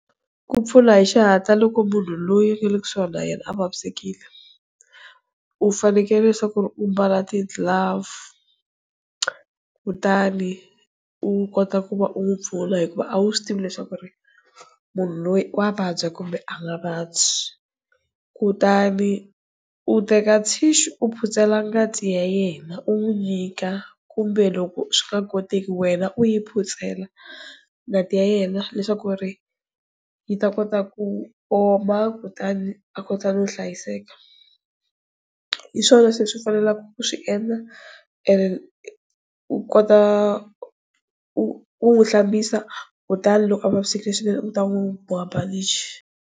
Ku pfula hi xihatla loko munhu loyi u ngale ku suhani a vavisekile, u fanekele leswaku ri u mbala ti glove kutani u kota ku va u n'wi pfuna hikuva a wu swi tivi leswaku ri munhu loyi wa vabya kumbe a nga vabyi kutani u teka tissue u phutsela ngati ya yena u n'wi nyika kumbe loko swi nga koteki wena u yi phutsela ngati ya yena leswaku ri yi ta kota ku oma kutani a kota ku hlayiseka. Hiswona swi fanelaka ku swi endla u kota u hlambisa kutani loko a vavisekile swinene u ta n'wi boha bandichi.